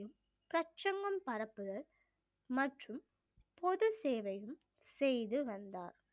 பரப்புதல் மற்றும் பொது சேவையும் செய்து வந்தார்